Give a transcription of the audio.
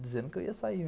Dizendo que eu ia sair.